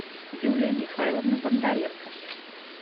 юлия михайловна бондаренко